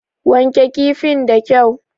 Wanke kifin da kyau!